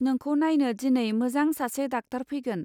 नोंखौ नायनो दिनै मोजां सासे डाक्टर फैगोन.